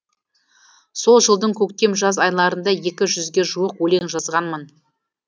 сол жылдың көктем жаз айларында екі жүзге жуық өлең жазғанмын